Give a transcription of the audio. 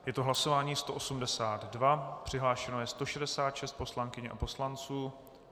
Je to hlasování 182, přihlášeno je 166 poslankyň a poslanců.